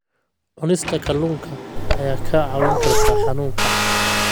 Cunista kalluunka ayaa kaa caawin karta xanuunka.